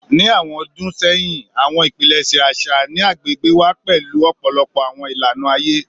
Ni awọn ọdun sẹyin, awọn ipilẹṣẹ aṣa ni agbegbe wa pẹlu ọpọlọpọ awọn ilana aye